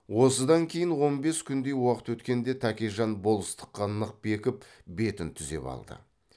осыдан кейін он бес күндей уақыт өткенде тәкежан болыстыққа нық бекіп бетін түзеп алды